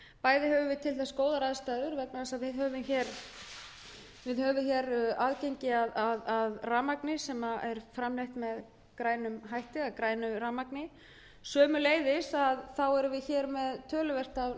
bæði höfum við til þess góðar aðstæður vegna þess að við höfum aðgengi að grænu rafmagni og einnig er náttúruleg kæling töluverð en á